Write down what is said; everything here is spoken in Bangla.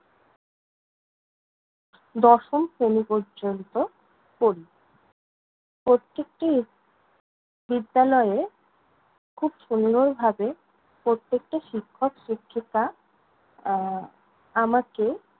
দশম শ্রেণী পর্যন্ত পড়ি। প্রত্যেকটি বিদ্যালয়ে খুব সুন্দর ভাবে প্রত্যেকটা শিক্ষক শিক্ষিকা এর আমাকে